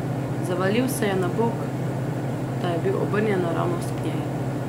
Zavalil se je na bok, da je bil obrnjen naravnost k njej.